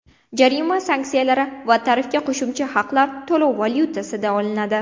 Jarima sanksiyalari va tarifga qo‘shimcha haqlar to‘lov valyutasida olinadi.